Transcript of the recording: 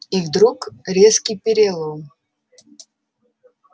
и вдруг резкий перелом